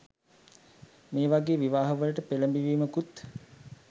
මේ වගේ විවාහ වලට පෙළඹවීමකුත්